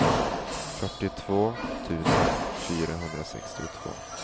fyrtiotvå tusen fyrahundrasextiotvå